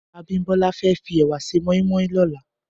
Abimbola fè fi èwà sè mòimòi lòlá